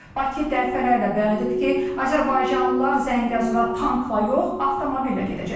Bakı dəfələrlə bəyan edib ki, azərbaycanlılar Zəngəzura tankla yox, avtomobillə gedəcəklər.